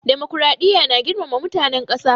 Dimokuraɗiya na girmama mutanen ƙasa.